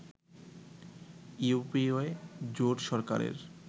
UPA জোট সরকারের